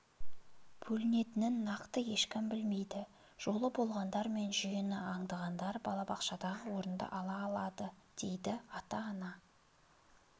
бөлінетінін нақты ешкім білмейді жолы болғандар мен жүйені аңдығандар балабақшадағы орынды ала алады дейді ата-ана